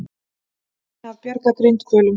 Reyna að bjarga grindhvölum